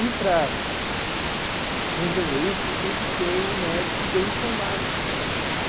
E para resolver isso tem que ter um médico bem informado.